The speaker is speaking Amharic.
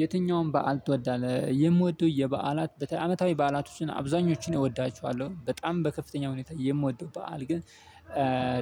የትኛውም በዓል ትወዳለህ? የምወደው የበዓላት በተ አመታዊ በዓላቶችን አብዛኞቹን እወዳቸዋለሁ በጣም በከፍተኛ ሁኔታ የምወደው በዓል ግን